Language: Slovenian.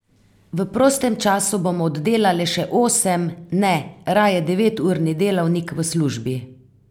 V prostem času bomo oddelale še osem, ne, raje deveturni delavnik v službi.